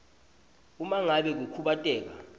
uma ngabe kukhubateka